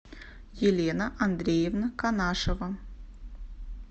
елена андреевна канашева